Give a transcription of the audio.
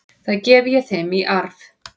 Það gef ég þeim í arf.